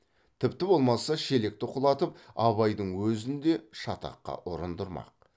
тіпті болмаса шелекті құлатып абайдың өзін де шатаққа ұрындырмақ